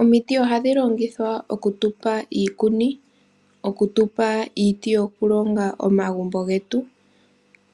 Omiti ohadhi longithwa oku tupa iikuni, oku tupa iiti yoku longa omagumbo getu,